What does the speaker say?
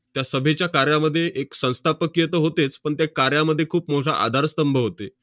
त्या सभेच्या कार्यामध्ये एक संस्थापकीय तर होतेच, पण त्या कार्यामध्ये खूप मोठा आधारस्तंभ होते.